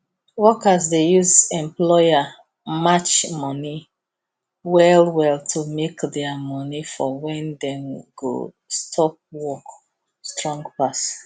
workers dey use employer match money well well to make their money for when dem go stop work strong pass